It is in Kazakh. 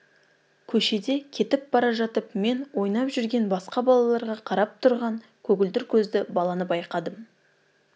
көшеде кетіп бара жатып мен ойнап жүрген басқа балаларға қарап тұрған көгілдір көзді баланы байқадым